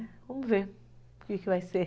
Vamos ver o que vai ser.